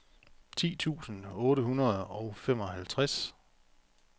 ti tusind otte hundrede og femoghalvtreds